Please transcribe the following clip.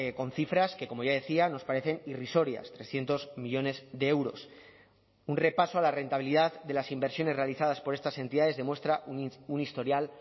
con cifras que como ya decía nos parecen irrisorias trescientos millónes de euros un repaso a la rentabilidad de las inversiones realizadas por estas entidades demuestra un historial